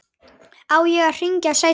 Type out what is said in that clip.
Á ég að hringja seinna?